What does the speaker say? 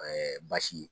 Ɛɛ baasi ye